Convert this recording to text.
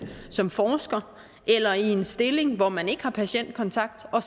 som forsker eller i en stilling hvor man ikke har patientkontakt og